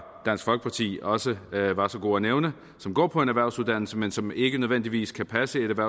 dansk folkeparti også var så god at nævne som går på en erhvervsuddannelse men som ikke nødvendigvis kan passe et